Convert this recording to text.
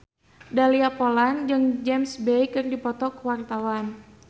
Dahlia Poland jeung James Bay keur dipoto ku wartawan